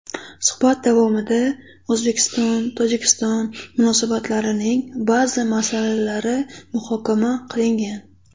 Suhbat davomida O‘zbekistonTojikiston munosabatlarining ba’zi masalalari muhokama qilingan.